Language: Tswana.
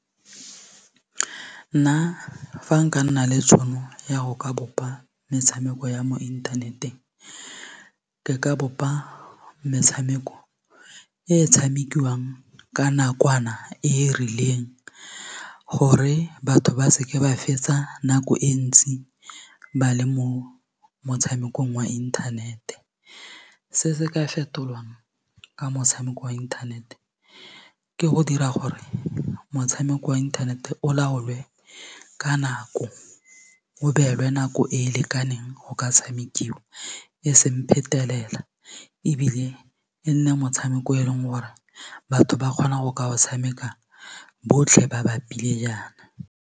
Nna fa nka nna le tšhono ya go ka bopa metshameko ya mo inthaneteng ke ka bopa metshameko e tshamekiwang ka nakwana e e rileng gore batho ba seke ba fetsa nako e ntsi ba le mo motshamekong wa inthanete se se ka fetolwang ka motshameko wa inthanete ke go dira gore motshameko wa inthanete o laolwe ka nako o beelwe nako e e lekaneng go ka tshamekiwa e seng phetelela ebile e nne motshameko e leng gore batho ba kgona go ka o tshameka botlhe ba bapile jaana.